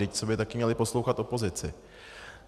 Vždyť co by taky měli poslouchat opozici?